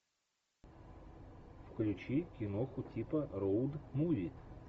включи киноху типа роуд муви